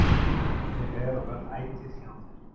Ég er og verð ætíð hjá þér.